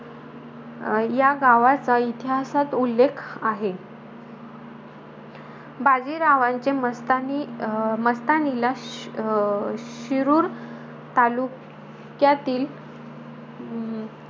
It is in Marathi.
अं या गावाचा इतिहासात उल्लेख आहे. बाजीरावांचे मस्तानी अं मस्तानीला शि अं शिरूर तालुक्यातील, अं